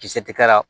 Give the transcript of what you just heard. Kisɛ tikɛ la